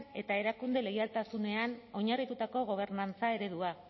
eta erakundeen leialtasunean oinarritutako gobernantza eredua